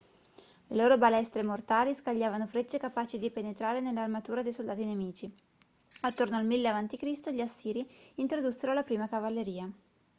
le loro balestre mortali scagliavano frecce capaci di penetrare nell'armatura dei soldati nemici attorno al 1000 a.c. gli assiri introdussero la prima cavalleria